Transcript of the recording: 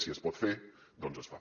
si es pot fer doncs es fa